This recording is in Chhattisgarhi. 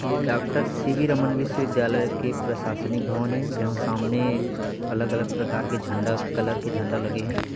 ये डॉक्टर सी_ वी रमन विश्व विद्यालय की प्रशासनिक भवन है जहां सामने अलग अलग प्रकार के झण्डा कलर के झण्डा लगे हे |